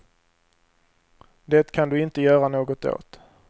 Det kan du inte göra något åt.